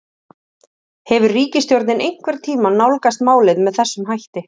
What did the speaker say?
Hefur ríkisstjórnin einhvern tímann nálgast málið með þessum hætti?